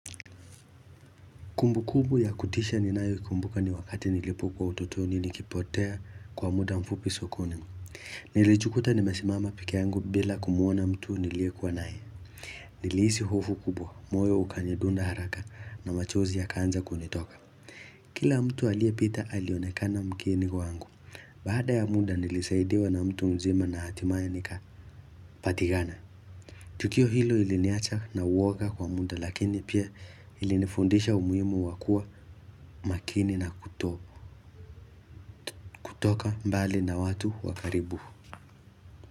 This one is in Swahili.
Kumbukumbu ya kutisha ninayoikumbuka ni wakati nilipokuwa utotoni nikipotea kwa muda mfupi sokoni. Nilijikuta nimesimama peke yangu bila kumuona mtu niliye kuwa naye. Nilihisi hofu kubwa moyo ukanidunda haraka na machozi yakaanza kunitoka. Kila mtu aliyepita alionekana mgeni kwangu. Baada ya muda nilisaidiwa na mtu mzima na hatimaye nikapatikana. Tukio hilo liliniacha na uwoga kwa muda lakini pia lilinifundisha umuhimu wa kuwa makini na kuto kutoka mbali na watu wa karibu.